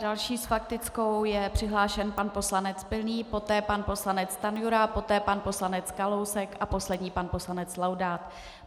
Další s faktickou je přihlášen pan poslanec Pilný, poté pan poslanec Stanjura, poté pan poslanec Kalousek a poslední pan poslanec Laudát.